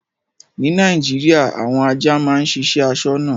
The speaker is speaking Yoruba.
Ní Nàìjíríà àwọn ajá máa ń ṣiṣẹ́ aṣọ́nà.